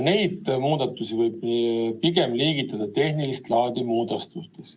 Neid muudatusi võib liigitada pigem tehnilist laadi muudatusteks.